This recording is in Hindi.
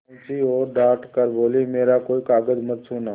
पहुँची और डॉँट कर बोलीमेरा कोई कागज मत छूना